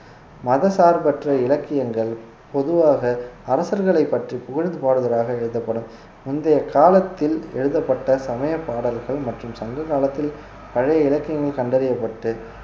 மதசார்பற்ற இலக்கியங்கள் பொதுவாக அரசர்களைப் பற்றி புகழ்ந்து பாடுவதாக எழுதப்படும் முந்தைய காலத்தில் எழுதப்பட்ட சமயப் பாடல்கள் மற்றும் சங்க காலத்தில் பழைய இலக்கியங்கள் கண்டறியப்பட்டு